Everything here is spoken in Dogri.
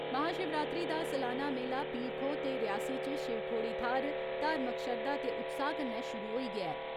महाशिवरात्री दा सलाना मेला, पीर खोह् ते रियासी च शिवखोड़ी थ्हार, धार्मिक श्रद्धा ते उत्साह कन्नै शुरु होई गेया ऐ।